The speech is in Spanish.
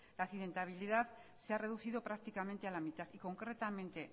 la accidentabilidad se ha reducido prácticamente a la mitad y concretamente